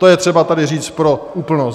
To je třeba tady říct pro úplnost.